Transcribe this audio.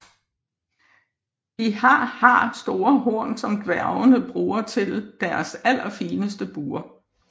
De har har store horn som dværgene bruger til deres allerfineste buer